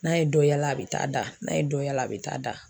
N'a ye dɔ yala, a be taa da . N'a ye dɔ yala a be taa da.